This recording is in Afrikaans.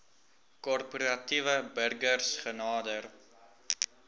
korporatiewe burgers genader